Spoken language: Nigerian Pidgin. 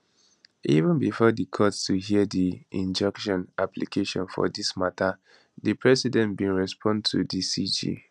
even bifor di court to hear di injunction application for dis mata di president bin respond to di cj